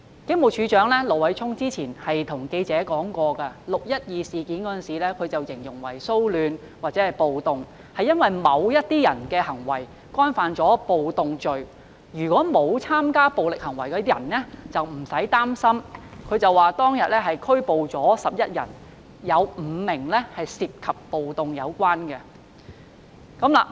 警務處處長盧偉聰之前向記者表示 ，6 月12日的事件形容為騷亂或暴動，是因為某些人的行為干犯暴動罪，沒有參加暴力行為的人不用擔心；他又指，當天共拘捕11人，當中有5人涉及暴動罪。